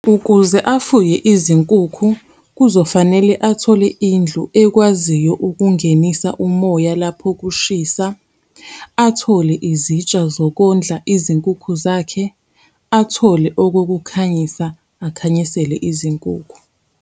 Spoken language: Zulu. Ukuze afuye izinkukhu, kuzofanele athole indlu ekwaziyo ukungenisa umoya lapho kushisa, athole izitsha zokondla izinkukhu zakhe, athole okokukhanyisa akhanyisele izinkukhu.